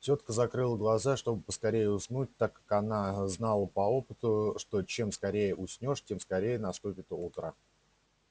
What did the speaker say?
тётка закрыла глаза чтобы поскорее уснуть так как она знала по опыту что чем скорее уснёшь тем скорее наступит утро